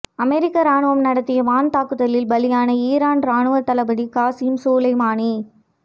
அமெரிக்க ராணுவம் நடத்திய வான்தாக்குதலில் பலியான ஈரான் ராணுவ தளபதி காசிம் சுலைமானி